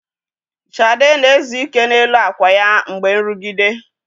Shade na-ezu ike n'elu akwa ya mgbe nrụgide.